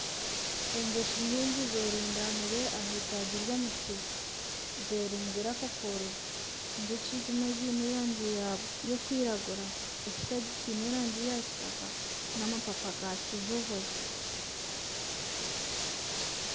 Enjoki nyingi zeerundaniire aha itaagi ry'omuti zeerunzire akakoro enjoki ezimwe ziine erangi y'okwiragura ekitaagi kiine erangi ya kitaaka n'amapapa ga kijubwe